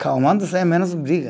Calmando sem menos briga.